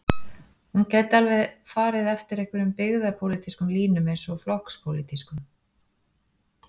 Hún gæti alveg farið eftir einhverjum byggðapólitískum línum eins og flokkspólitískum.